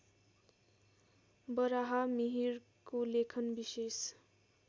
बराहमिहिरको लेखन विशेष